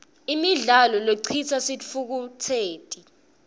imidlalo lecitsa sitfukutseti